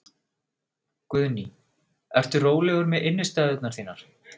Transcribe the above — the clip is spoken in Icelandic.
Guðný: Ertu rólegur með innistæðurnar þínar?